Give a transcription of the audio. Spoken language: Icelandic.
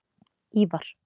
Ívar